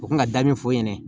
U kun ka da min f'o ɲɛna